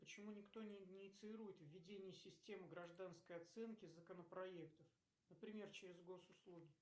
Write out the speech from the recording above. почему ни кто не инициирует введение системы гражданской оценки законопроектов например через госуслуги